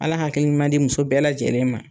Ala hakili ɲuman di muso bɛɛ lajɛlen ma.